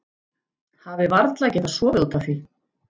Hafi varla getað sofið út af því.